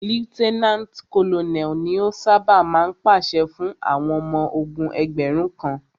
Lieutenant Colonel ni o ṣábà máa ń pàṣẹ fún àwọn ọmọ ogún ẹgbẹ̀rún kan.